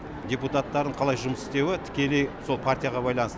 депутаттарын қалай жұмыс істеуі тікелей сол партияға байланысты